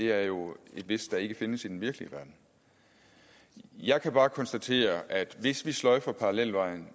er jo et hvis der ikke findes i den virkelige verden jeg kan bare konstatere at hvis vi sløjfer parallelvejen